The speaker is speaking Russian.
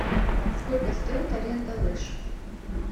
сколько стоит аренда лыж